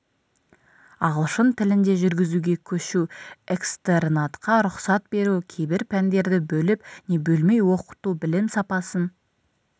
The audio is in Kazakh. ағылшын тілінде жүргізуге көшу экстернатқа рұқсат беру кейбір пәндерді бөліп не бөлмей оқыту білім сапасын